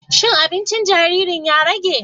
Shin aɓincin jariri ya rage?